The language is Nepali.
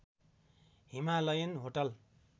Himalayan hotel